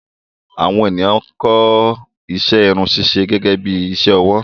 Àwọn ènìyàn ń kọ́ iṣẹ́ Irun ṣíṣe gẹ́gẹ́bí iṣẹ́ ọwọ́